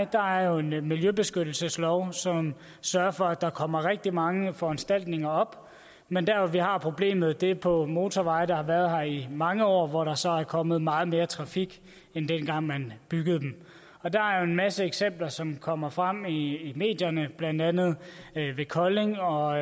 der jo en miljøbeskyttelseslov som sørger for at der kommer rigtig mange foranstaltninger op men der hvor vi har problemet er på motorveje der har været her i mange år og hvor der så er kommet meget mere trafik end dengang man byggede dem der er jo en masse eksempler som kommer frem i medierne blandt andet ved kolding og